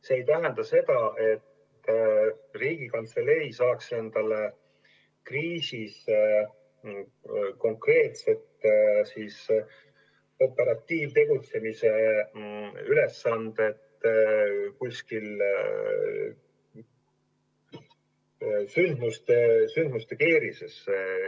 See ei tähenda seda, et Riigikantselei saab endale kriisis konkreetselt operatiivtegutsemise ülesande kuskil sündmuste keerises.